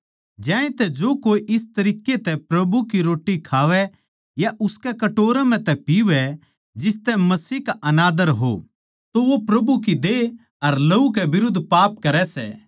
ज्यांतै जो कोए इस तरिक्कें तै प्रभु की रोट्टी खावै या उसकै कटोरे म्ह तै पीवै जिसतै मसीह का आनदर हो तो वो प्रभु की देह अर लहू के बिरुध्द पाप करै सै